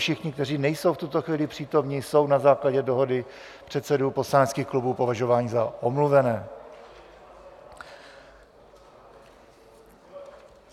Všichni, kteří nejsou v tuto chvíli přítomni, jsou na základě dohody předsedů poslaneckých klubů považováni za omluvené.